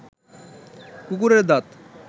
কুকুরের দাঁত